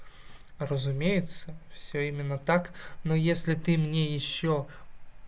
разумеется всё именно так но если ты мне ещё